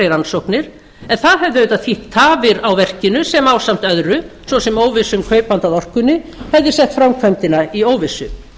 rannsóknir en það hefði auðvitað þýtt tafir á verkinu sem ásamt öðru svo sem óvissu um kaupanda að orkunni hefði sett framkvæmdina í óvissu